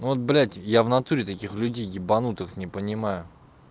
вот блядь я в натуре таких людей ебанутых не понимаю